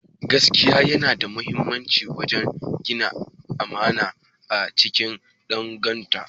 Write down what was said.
Gaskiya yana da mahimmanci wajen gina amana a cikin dangantaka